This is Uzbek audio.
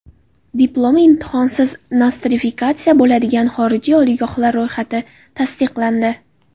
Diplomi imtihonsiz nostrifikatsiya bo‘ladigan xorijiy oliygohlar ro‘yxati tasdiqlandi.